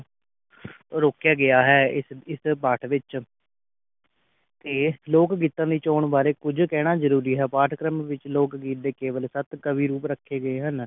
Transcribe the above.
ਰੋਕਿਆ ਗਿਆ ਹੈ ਇਸ ਇਸ ਪਾਠ ਵਿਚ ਅਤੇ ਲੋਕ ਗੀਤਾ ਵਿਚ ਆਉਣ ਬਾਰੇ ਕੁਝ ਕਹਿਣਾ ਜਰੂਰੀ ਹੈ ਪਾਠ ਕਰਮ ਵਿਚ ਲੋਕ ਕੇਵਲ ਸਤ ਕਵੀ ਰੂਪ ਰੱਖੇ ਗਏ ਹਨ